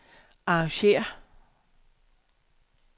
arrangér